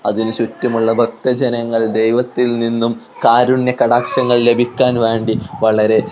അതിനു ചുറ്റുമുള്ള ഭക്ത ജനങ്ങൾ ദൈവത്തിൽ നിന്നും കാരുണ്യ കടാക്ഷങ്ങൾ ലഭിക്കാൻ വേണ്ടി വളരെ--